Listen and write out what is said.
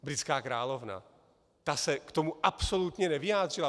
Britská královna, ta se k tomu absolutně nevyjádřila.